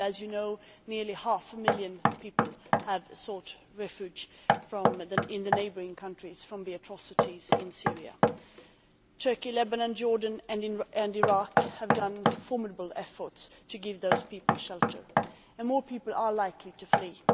As you know, nearly half a million people have sought refuge in the neighbouring countries from the atrocities in Syria. Turkey, Lebanon, Jordan and Iraq have made formidable efforts to give those people shelter and more people are likely to flee.